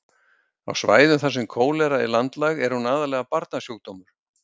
Á svæðum þar sem kólera er landlæg er hún aðallega barnasjúkdómur.